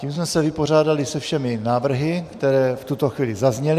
Tím jsme se vypořádali se všemi návrhy, které v tuto chvíli zazněly.